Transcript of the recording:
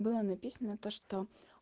было написано то что